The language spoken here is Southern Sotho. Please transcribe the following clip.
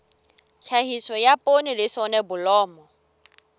tlhahiso ya poone le soneblomo